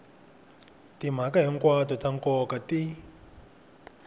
timhaka hinkwato ta nkoka ti